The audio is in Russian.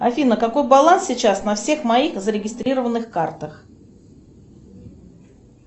афина какой баланс сейчас на всех моих зарегистрированных картах